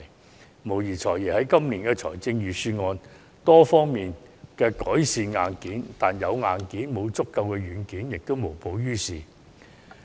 "財爺"無疑在今年的預算案中改善了多方面的硬件問題，但光有硬件而沒有足夠軟件，也是無補於事的。